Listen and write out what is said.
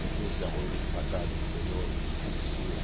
Não tinha esse arroz ensacado que tem hoje de cinco quilo.